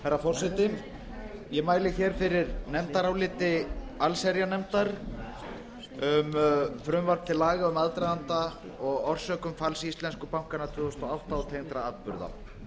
herra forseti ég mæli hér fyrir nefndaráliti allsherjarnefndar um rannsókn á aðdraganda og orsökum falls íslensku bankanna tvö þúsund og átta og tengdra